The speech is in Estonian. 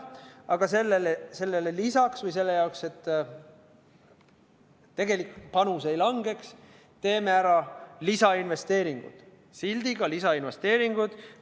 Aga sellele lisaks või selle jaoks, et tegelik panus ei kahaneks, teeme ära lisainvesteeringud, sildiga lisainvesteeringud.